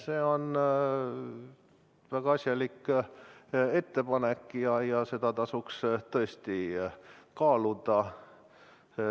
See on väga asjalik ettepanek ja seda tasub tõesti kaaluda.